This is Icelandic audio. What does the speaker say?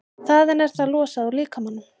Þaðan er það losað úr líkamanum.